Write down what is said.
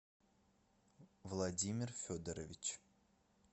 владимир федорович